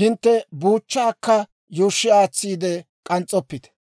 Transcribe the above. hintte buuchchaakka yuushshi aatsiide k'ans's'oppite.